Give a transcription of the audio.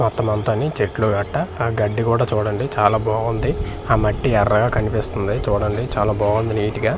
మొత్తం అంతని చెట్లు గట్ట ఆ గడి కూడా చూడండి చాలా బాగుంది ఆ మట్టి ఎర్రగా కనిపిస్తుంది చూడండి చాలా బాగుంది నిట్ గా .